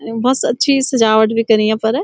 बहौत अच्छी सजावट बि करी यफर।